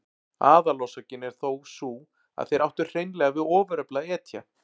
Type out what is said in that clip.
Aðalorsökin er þó sú að þeir áttu hreinlega við ofurefli að etja.